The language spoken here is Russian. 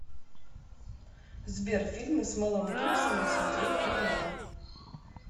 сбер фильмы с мэлом гипсоном смотреть онлайн